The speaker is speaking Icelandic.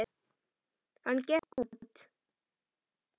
Hann gekk út.